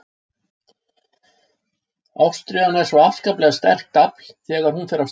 Ástríðan er svo afskaplega sterkt afl þegar hún fer af stað.